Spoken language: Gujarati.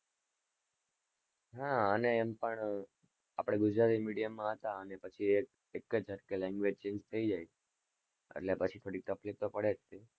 હા અને એમ પણ આપણે ગુજરાતી medium માં હતા અને પછી એક જ ઝટકે language change થઇ જાય એટલે પછી થોડી તફ્લીક તો પડે જ છે.